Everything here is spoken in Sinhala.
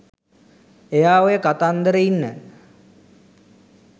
එයා ඔය කතන්දර ඉන්න